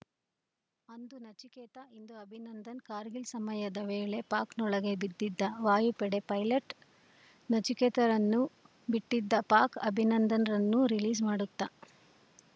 ಅಂದು ನಚಿಕೇತ ಇಂದು ಅಭಿನಂದನ್‌ ಕಾರ್ಗಿಲ್‌ ಸಮರದ ವೇಳೆ ಪಾಕ್‌ನೊಳಗೆ ಬಿದ್ದಿದ್ದ ವಾಯುಪಡೆ ಪೈಲಟ್‌ ನಚಿಕೇತರನ್ನು ಬಿಟ್ಟಿದ್ದ ಪಾಕ್‌ ಅಭಿನಂದನ್‌ರನ್ನೂ ರಿಲೀಸ್‌ ಮಾಡುತ್ತಾ